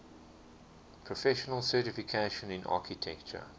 professional certification in architecture